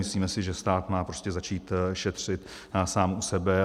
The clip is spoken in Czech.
Myslíme si, že stát má prostě začít šetřit sám u sebe.